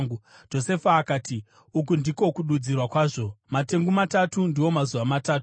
Josefa akati, “Uku ndiko kududzirwa kwazvo. Matengu matatu ndiwo mazuva matatu.